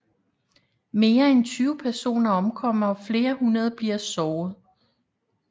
Mere end 20 personer omkommer og flere hundrede bliver såret